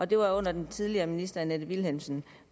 det var under den tidligere minister fru annette vilhelmsen